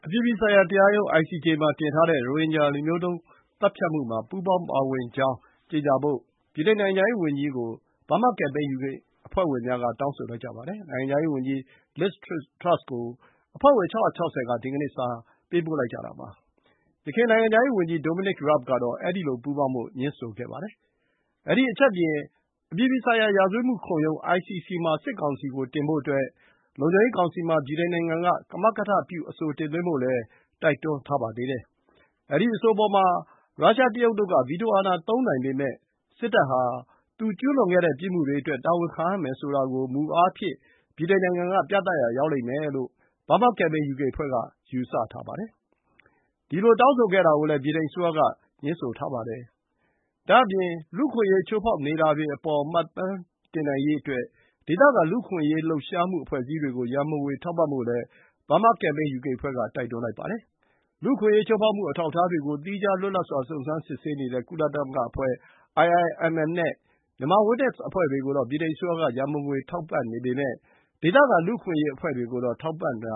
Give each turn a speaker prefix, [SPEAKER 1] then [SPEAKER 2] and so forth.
[SPEAKER 1] ပြည်ပြည်ဆိုင်ရာ တရားရုံးမှာတင်ထားတဲ့ ရိုဟင်ဂျာ လူမျိုးတုံး သတ်ဖြတ်မှုမှာ ပူးပေါင်းပါဝင်ကြောင်း ကြေညာဖို့ ဗြိတိန် နိုင်ငံခြားရေး ဝန်ကြီးကို Burma Campaign UK အဖွဲ့ဝင်များက တောင်းဆိုလိုက်ကြပါတယ်။ နိုင်ငံခြားရေး ဝန်ကြီး Liz Truss ဆီကို အဖွဲ့ဝင် ၆၆၀ က ဒီကနေ့ စာ ပေးပို့လိုက်ကြတာပါ။ ယခင် နိုင်ငံခြားရေး ဝန်ကြီး Dominic Raabကတော့ အဲဒီလို ပူးပေါင်းဖို့ ငြင်းဆိုခဲ့ပါတယ်။ အဲဒီ အချက်အပြင် အပြည်ပြည်ဆိုင်ရာ ရာဇဝတ်မှုခုံရုံး ICC မှာ စစ်ကောင်စီကို တင်ဖို့ အတွက် လုံခြုံရေး ကောင်စီမှာ ဗြိတိန်နိုင်ငံက ကမကထပြု အဆိုတင်သွင်းဖို့လည်း တိုက်တွန်းထားပါသေးတယ်။ ဒီ အဆိုအပေါ် ရုရှား၊ တရုတ်တို့က ဗီတိုအာဏာသုံးနိုင် ပေမဲ့ စစ်တပ်ဟာ သူ ကျူးလွန်ခဲ့တဲ့ ပြစ်မှုတွေအတွက် တာဝန်ခံရမယ်ဆိုတာကို မူအားဖြင့် ပြသရာရောက်မယ်လို့ Burma Campaign UK အဖွဲ့က ယူဆပါတယ်။ဒီလိုတောင်းဆိုခဲ့တာ ကိုလည်း ဗြိတိန်အစိုးရ က ငြင်းဆိုခဲ့ဖူးပါတယ်။ ဒါ့အပြင် လူ့အခွင့်အရေး ချိုးဖောက်နေတာတွေ အပေါ်မှတ်တမ်းတင်နိုင်ရေးအတွက် ဒေသခံ လူ့အခွင့်အရေး လှုပ်ရှားမှု အဖွဲ့အစည်းတွေကို ရံပုံငွေ ထောက်ပံ့ဖို့လည်း Burma Campaign UK အဖွဲ့ က တိုက်တွန်းလိုက်ပါတယ်။ လူ့အခွင့်အရေး ချိုးဖောက်မှု အထောက်အထားတွေကို သီးခြား လွတ်လပ်စွာ စုံစမ်းစစ်ဆေးနေတဲ့ ကုလသမဂ္ဂအဖွဲ့ IIMM နဲ့ Myanmar Witness အဖွဲ့တွေကိုတော့ ဗြိတိန် အစိုးရက ရံပုံငွေ ထောက်ပံ့ပေမဲ့ ဒေသခံ လူ့အခွင့်အရေး အဖွဲ့တွေကိုတော့ ထောက်ပံ့တ